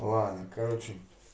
ладно короче